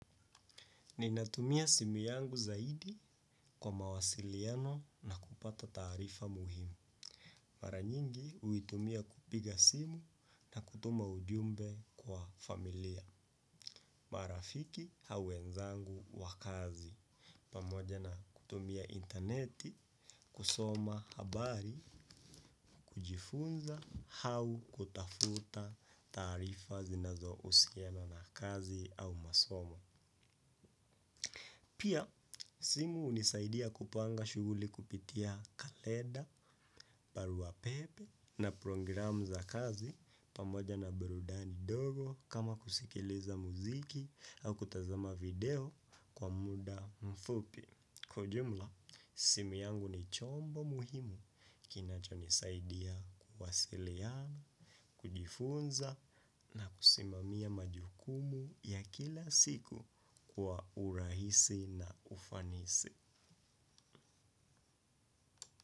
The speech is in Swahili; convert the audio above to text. Ninatumia simu yangu zaidi kwa mawasiliano na kupata taarifa muhimu. Mara nyingi huitumia kupiga simu na kutuma ujumbe kwa familia. Marafiki au wenzangu wa kazi pamoja na kutumia interneti, kusoma habari, kujifunza, au kutafuta taarifa zinazohusiana na kazi au masomo. Pia simu hunisaidia kupanga shughuli kupitia kalenda, barua pepe na program za kazi pamoja na burudani ndogo kama kusikiliza muziki au kutazama video kwa muda mfupi. Kwa ujumla, simu yangu ni chombo muhimu kinachonisaidia kuwasiliana, kujifunza na kusimamia majukumu ya kila siku kwa urahisi na ufanisi.